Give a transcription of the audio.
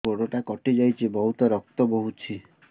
ଗୋଡ଼ଟା କଟି ଯାଇଛି ବହୁତ ରକ୍ତ ବହୁଛି